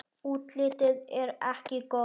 Útlitið er ekki gott.